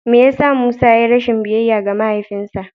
Me ya sa Musa ya yi rashin biyayya ga mahaifinsa?